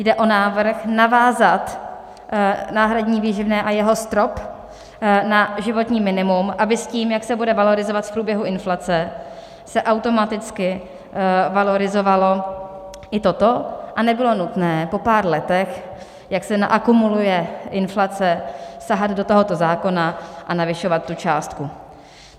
Jde o návrh navázat náhradní výživné a jeho strop na životní minimum, aby s tím, jak se bude valorizovat v průběhu inflace, se automaticky valorizovalo i toto a nebylo nutné po pár letech, jak se naakumuluje inflace, sahat do tohoto zákona a navyšovat tu částku.